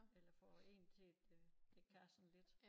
Eller få én til det det kan sådan lidt